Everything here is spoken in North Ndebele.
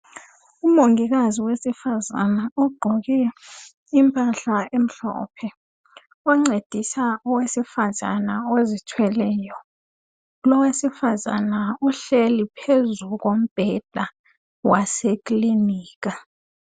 Umongikazi owesifazana ugqoke impahla emhlophe oncedisa owesifazana uzithweleyo lowesifazane uhleli phezu kombheda wasekilinika .